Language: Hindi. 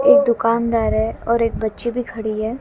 एक दुकानदार है और एक बच्ची भी खड़ी है।